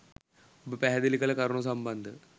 ඔබ පැහැදිලි කළ කරුණු සම්බන්ධව